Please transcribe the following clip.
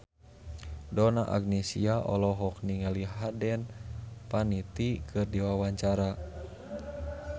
Donna Agnesia olohok ningali Hayden Panettiere keur diwawancara